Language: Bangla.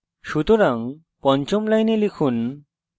সুতরাং পঞ্চম line লিখুন